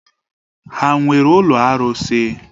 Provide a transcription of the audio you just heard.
Ha nwere ụlọ arụsị?